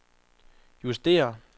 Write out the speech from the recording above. justér